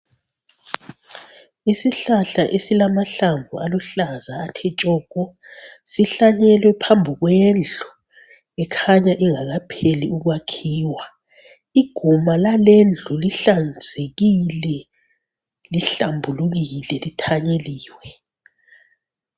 Isihlahla esilamahlamvu aluhlaza athe tshoko, sihlanyelwe phambi kwendlu ekhanya ingakapheli ukwakhiwa. Iguma lalendlu lihlanzekile lihlambulukile lithanyeliwe.